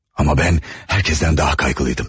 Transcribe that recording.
Amma mən hər kəsdən daha narahat idim.